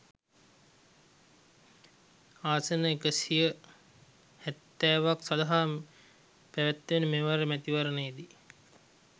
ආසන එකසිය හැත්තෑවක් සඳහා පැවැත්වෙන මෙවර මැතිවරණයේදී